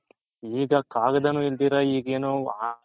ಈಗ ಕಗ್ದನು ಇಲ್ದಿರ ಅದೇನೋ